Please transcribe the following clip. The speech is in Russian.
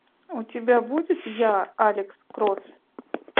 у тебя будет я алекс кросс